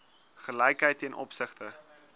gelykheid ten opsigte